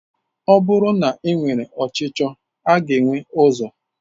Ọ bụrụ na e nwere ọchicho a ga enwe ụzọ?